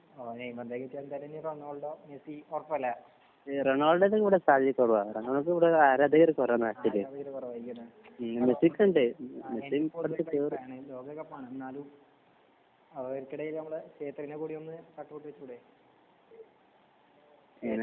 ആഹ് നെയ്മറിന്റെ റൊണാൾഡോ മെസ്സിന്റെ ഒക്കെ ഒറപ്പല്ലേ? ആരാധകർ കുറവായിരിക്കും അല്ലേ ലോകകപ്പ് ആണ്. എന്നാലും നമ്മളേ ശേത്രിന്റെ കൂടെ ഒന്ന് കട്ട്‌ ഔട്ട്‌ വെച്ചൂടെ? ശേത്രിന്റെ